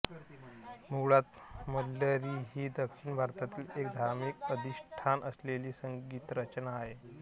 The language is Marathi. मुळात मल्लरि ही दक्षिण भारतातील एक धार्मिक अधिष्ठान असलेली संगीतरचना होय